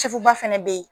Sugu ba fana bɛ yen